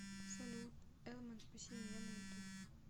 салют элман спаси меня на ютуб